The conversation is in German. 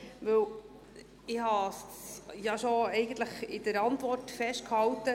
Ich habe es ja eigentlich schon in der Antwort festgehalten.